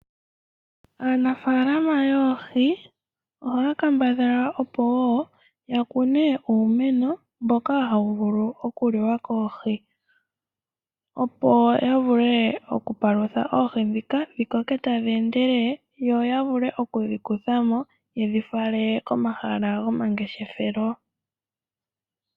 Aanafaalama yoohi ohaya kambadhala opo yakune uumeno mboka hawuvulu okuliwa koohi opo yavule okupalutha oohi dhika dhikoke tadhi endelele yo yavule okudhi kuthamo yedhifale komahala gomangeshefelo.